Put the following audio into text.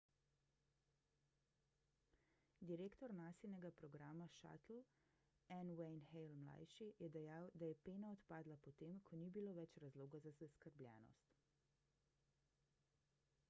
direktor nasinega programa shuttle n wayne hale ml je dejal da je pena odpadla po tem ko ni bilo več razloga za zaskrbljenost